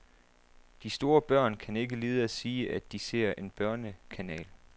De store børn kan ikke lide at sige, at de ser en børnekanal.